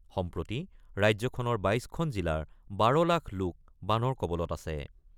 সম্প্ৰতি ৰাজ্যখনৰ ২২ খন জিলাৰ ১২ লাখ লোক বানৰ কবলত আছে।